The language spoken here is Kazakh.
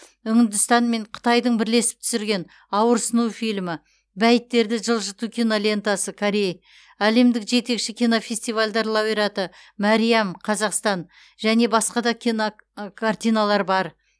үндістан мен қытайдың бірлесіп түсірген ауырсыну фильмі бәйіттерді жылжыту кинолентасы корей әлемдік жетекші кинофестивальдар лауреаты мәриам қазақстан және басқа да кинокартиналар бар